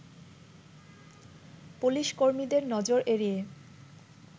police কর্মীদের নজর এড়িয়ে